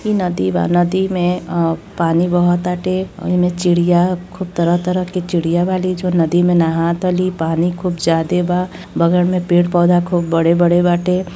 ई नदी बा। नदी मे अ पानी बहत ताटे। ओहि मे चिड़िया खूब तरह तरह की चिड़िया बाली जो नदी मे नहातली। पानी खूब जादे बा। बगल मे पेड़ पौधे खूब बड़े-बड़े बाटे।